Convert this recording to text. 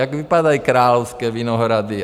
Jak vypadají Královské Vinohrady.